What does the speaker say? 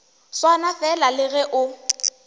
swana fela le ge o